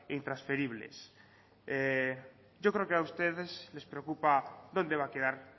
intransferibles yo creo que a ustedes les preocupa dónde va a quedar